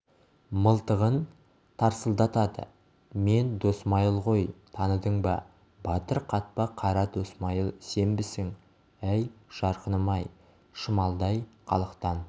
мылтығын тарсылдатады мен досмайыл ғой таныдың ба батыр қатпа қара досмайыл сенбісің әй жарқыным-ай шымалдай халықтан